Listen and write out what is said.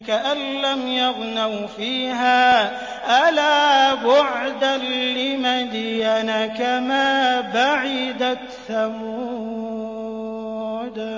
كَأَن لَّمْ يَغْنَوْا فِيهَا ۗ أَلَا بُعْدًا لِّمَدْيَنَ كَمَا بَعِدَتْ ثَمُودُ